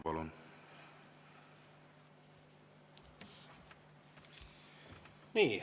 Palun!